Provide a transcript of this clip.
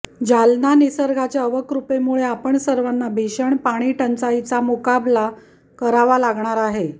जालना निसर्गाच्या अवकृपेमुळे आपणा सर्वांना भीषण पाणीटंचाईचा मुकाबला करावा लागणार आहे